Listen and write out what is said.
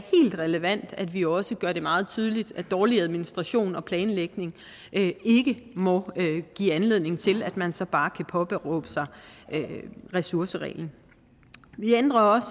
relevant at vi også gør det meget tydeligt at dårlig administration og planlægning ikke må give anledning til at man så bare kan påberåbe sig ressourcerreglen vi ændrer også